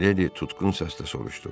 Miledi tutqun səslə soruşdu.